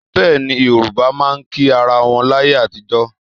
Bẹ́ẹ̀ni, Yorùbá máa ń kí ara wọn láyé àtijọ́